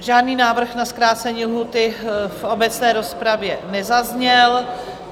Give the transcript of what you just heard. Žádný návrh na zkrácení lhůty v obecné rozpravě nezazněl.